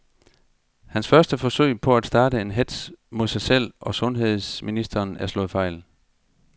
Hans første forsøg på at starte en hetz mod sig selv og sundheds ministeren er slået fejl.